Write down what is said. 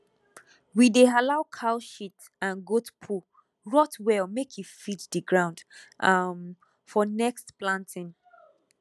we dey allow cow shit and goat poo rot well make e feed the ground um for next planting